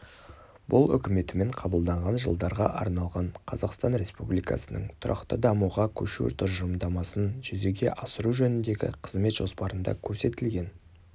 бұл үкіметімен қабылданған жылдарға арналған қазақстан республикасының тұрақты дамуға көшу тұжырымдамасын жүзеге асыру жөніндегі қызмет жоспарында көрсетілген